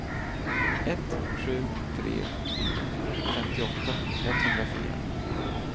ett sju tre fyra femtioåtta etthundrafyra